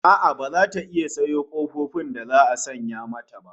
A'a baza ta iya sayo kofofin da za'a sanya mata ba